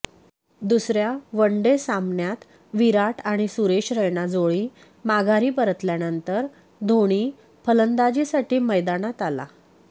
दुसर्या one day सामन्यात विराट आणि सुरेश रैना जोडी माघारी परतल्यानंतर धोनी फलंदाजीसाठी मैदानात आला